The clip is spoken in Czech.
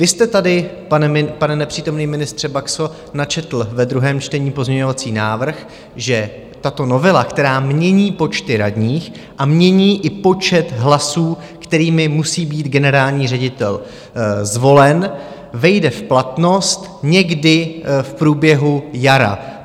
Vy jste tady, pane nepřítomný ministře Baxo, načetl ve druhém čtení pozměňovací návrh, že tato novela, která mění počty radních a mění i počet hlasů, kterými musí být generální ředitel zvolen, vejde v platnost někdy v průběhu jara.